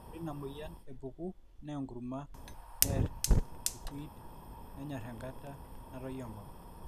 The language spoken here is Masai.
ore ina mweyian epuku enaa enkurma neer irkuit, nenyor enkata natoyio enkop